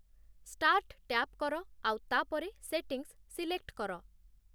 start tap କର ଆଉ ତାପରେ ସେଟିଂସ୍‌ ସିଲେକ୍ଟ୍‌ କର